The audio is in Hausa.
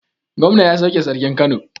Gomna ya sauke Sarkin Kano.